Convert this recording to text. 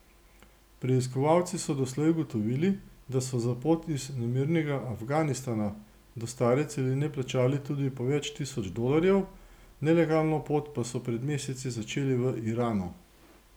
Preiskovalci so doslej ugotovili, da so za pot iz nemirnega Afganistana do stare celine plačali tudi po več tisoč dolarjev, nelegalno pot pa so pred meseci začeli v Iranu.